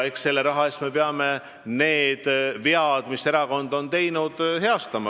Eks selle raha eest me peame heastama need vead, mis erakond on teinud.